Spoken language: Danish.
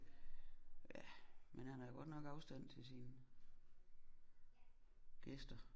Ja men han har godt nok afstand til sine gæster